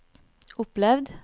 opplevd